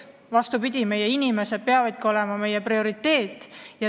Vastupidi, meie inimesed peavadki olema meie prioriteet.